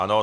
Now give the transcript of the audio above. Ano.